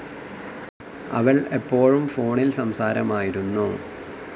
അവൾ എപ്പോഴും ഫോണിൽ സംസാരമായിരുന്നു.